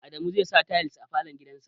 Adamu zai sa tayal a falo gidan sa